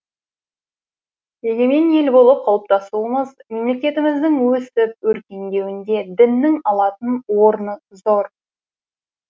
егемен ел болып қалыптасуымыз мемлекетіміздің өсіп өркендеуінде діннің алатын орны зор